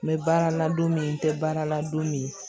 N bɛ baara la don min n tɛ baara la don min